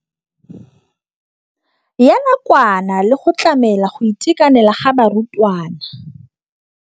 ya nakwana le go tlamela go itekanela ga barutwana.